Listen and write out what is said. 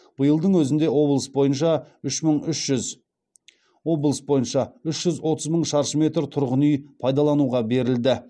биылдың өзінде облыс бойынша үш жүз отыз мың шаршы метр тұрғын үй пайдалануға берілді